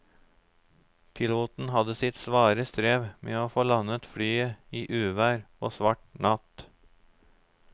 Piloten hadde sitt svare strev med å få landet flyet i uvær og svart natt.